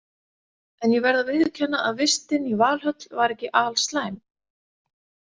En ég verð að viðurkenna að vistin í Valhöll var ekki alslæm.